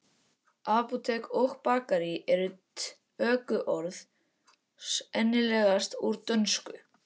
Apótek og bakarí eru tökuorð sennilegast úr dönsku.